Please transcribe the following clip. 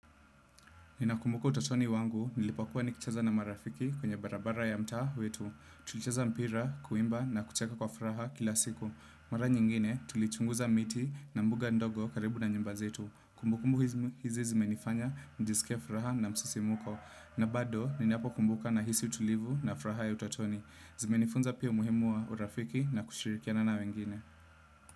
Ninakumbuka utotoni wangu, nilipokuwa nikicheza na marafiki kwenye barabara ya mtaa wetu. Tulicheza mpira, kuimba na kucheka kwa furaha kila siku. Mara nyingine, tulichunguza miti na mbuga ndogo karibu na nyumba zetu. Kumbukumbu hizi zimenifanya, nijisikie furaha na msisimuko. Na bado, ninapokumbuka nahisi utulivu na furaha ya utotoni. Zimenifunza pia umuhimu wa urafiki na kushirikiana na wengine.